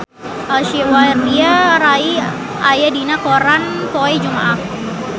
Aishwarya Rai aya dina koran poe Jumaah